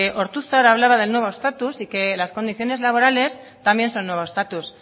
ortuzar hablaba del nuevo estatus y que las condiciones laborales también son nuevo estatus